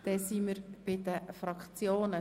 Wir kommen zu den Fraktionen.